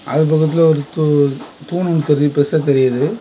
அது பக்கத்துல ஒரு தூ தூண் ஒன்னு தெரி பெருசா தெரிது.